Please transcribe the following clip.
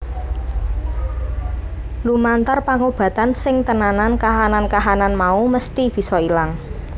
Lumantar pangobatan sing tenanan kahanan kahanan mau mesthi bisa ilang